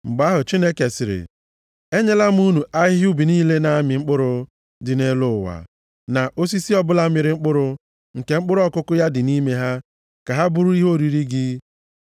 Mgbe ahụ, Chineke sịrị “Enyela m unu ahịhịa ubi niile na-amị mkpụrụ dị nʼelu ụwa, na osisi ọbụla mịrị mkpụrụ, nke mkpụrụ ọkụkụ ya dị nʼime ha, ka ha bụrụ ihe oriri gị.